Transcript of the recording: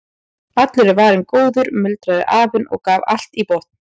Allur er varinn góður muldraði afinn og gaf allt í botn.